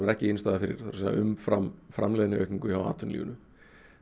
er ekki innistæða fyrir það er að segja umfram framleiðniaukningu hjá atvinnulífinu